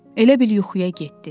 Elə bil yuxuya getdi.